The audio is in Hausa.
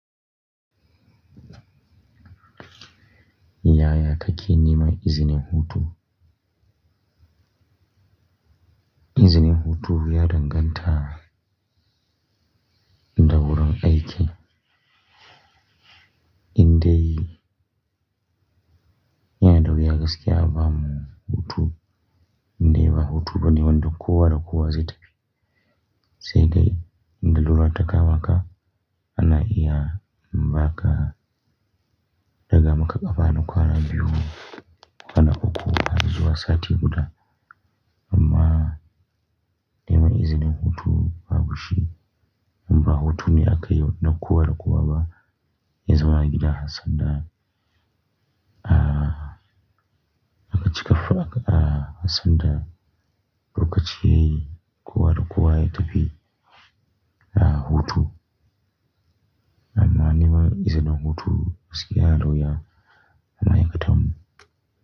Yaya ka ke nema izinin hutu. Izinin hutu ya danganta dawurin aiki. Indai, yana dawuya gaskiya a ba mu hutu. Indai ba hutu bane wanda kowada kowa zafi. Sai dai, in lalura ta kamaka ana iya baka. Ɗaga maka kafa nakwana biyu, kwana uku harzuwa sati guda. Amma neman izinin hutu babu shi. Ba hutu ne aka yo nakowa dakowa ba. Yazama a gida sanda, ah, aka cika form, akabah, san da lokaci yayi kowa da kowa yatafi, ah, hutu. Amma neman izinin hutu gaskiya yana da wuya, ana maikatan mu.